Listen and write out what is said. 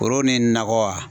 Foro ni nakɔ wa.